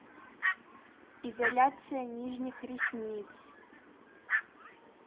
изоляция нижних ресниц